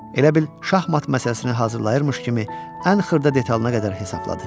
Elə bil şahmat məsələsini hazırlayırmış kimi ən xırda detalına qədər hesabladı.